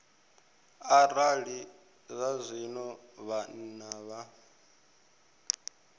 arali zwazwino vha nnḓa ha